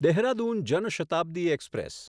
Dehradun Jan Shatabdi express